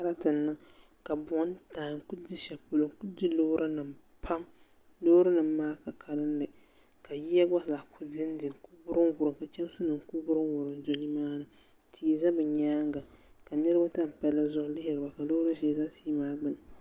Sarati n niŋ ka buɣum taagi n kuli di sheli polo n kuli di loori nima pam loori nima maa ka kalli ka yiya gbazaa kuli dindi n kuli wurum wurum ka chemsi nima kuli wurum wurum do nimaani tia za bɛ nyaanga ka niriba tam palli zuɣu lihiri ba ka loori ʒee za tia maa gbini.